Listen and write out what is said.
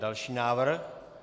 Další návrh.